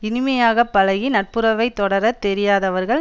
இனிமையாக பழகி நட்புறவைத் தொடரத் தெரியாதவர்கள்